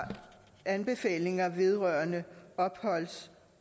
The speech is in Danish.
anbefalinger vedrørende opholds